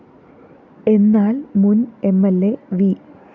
എന്നാല്‍ മുന്‍ M L A V